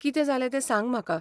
कितें जालें तें सांग म्हाका.